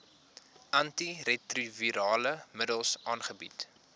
antiretrovirale middels aangebied